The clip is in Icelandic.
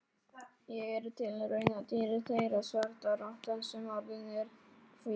Ég er tilraunadýrið þeirra, svarta rottan sem orðin er hvít.